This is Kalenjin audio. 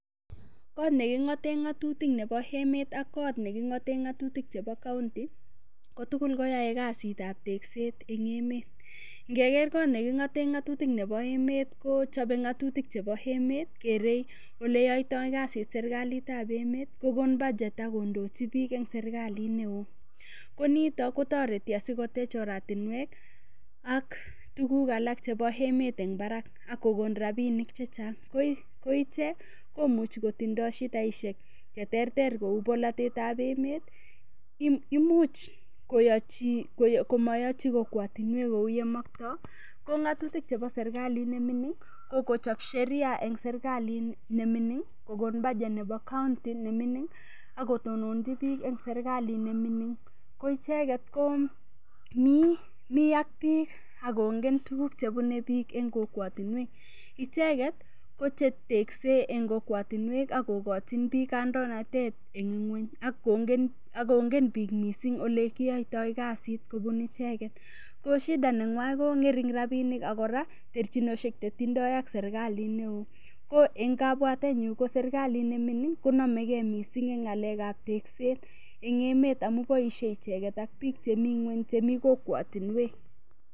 Kot neking'ote ng'atutik nebo emet ak kot cheking'ote ng'atutik chebo county kotugul koyoei kasitab tekset eng' emet ngeker kot neking'ote ng'otutik nebo emet kochobei ng'atutik chebo emet kerei ole yoitoi kasit serikalitab emet kokon budget akondoi biik eng' serikalit neo ko nito kotoreti asikotech oratinwek ak tukuk alak chebo emet eng' barak akokon rapinik chechang' ko ichek komuchi kotindoi shidaishek cheterter kou bolotet ab emet imuuch komayoichi kokwotinwek kou ye moktoi ko ng'atutik chebo serikalit nemining' kokochob Sheria eng' serikalit nemining' kokon budget nebo county nemining' akotononji biik eng' serikalit nemining' ko icheget ko mii ak biik akongen tukuk chebunei biik eng' kokwotinwek icheget kochetekse eng' kokwotinwek akokochin biik kandoinatet eng' ng'weny akongen biik mising' ole kiyoitoi kasit kobun icheget ko shida neng'wai ko ng'ering' rapinik akora terchinoshek chetindoi ak serikalit neo ko eng' kabwatenyu ko serikalit nemining' konomegei mising' eng' ng'alekab tekset eng' emet amu boishei icheget ak biik chemi ng'weny chemi kokwotinwek